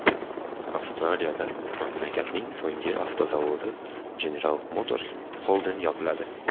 Avstraliyada mamlakatning so‘nggi avtozavodi General Motors Holden yopiladi.